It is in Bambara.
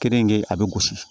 Keninke a bɛ gosi